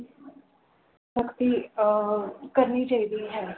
ਸਖਤੀ ਅਰ ਕਰਨੀ ਚਾਹੀਦੀ ਹੈ।